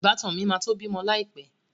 Ìbátan mi máa tó bímọ láì pẹ́